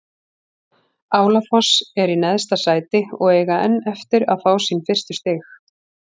Álafoss er í neðsta sæti og eiga enn eftir að fá sín fyrstu stig.